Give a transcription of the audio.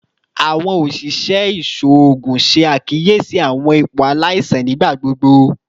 Awọn oṣiṣẹ iṣoogun ṣe akiyesi awọn ipo alaisan nigbagbogbo